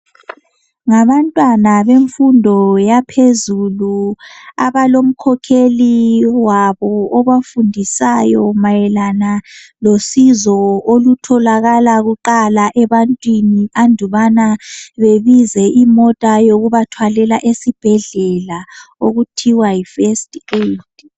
ngabantwana bemfundo yaphezulu abalomkhokheli wabo ofundisayo mayelana losizo olutholakala kuqala ebantwini andubana babize imota yokubathwalela esibhedlela okuthiwa yi first Aid